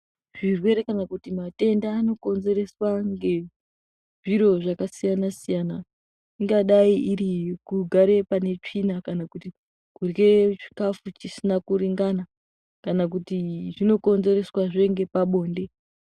Zvirwere kana kuti matenda anokonzereswa ngezviro zvakasiyana siyana ingadai kuti kugare pane tsvina kana kuti kurye chikafu chisina kuringana kana kuti zvinokonzereswazve ngepabonde.